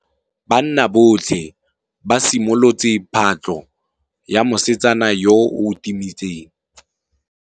Banna botlhê ba simolotse patlô ya mosetsana yo o timetseng.